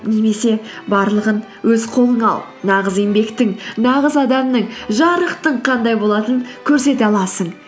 немесе барлығын өз қолыңа ал нағыз еңбектің нағыз адамның жарықтың қандай болатының көрсете аласың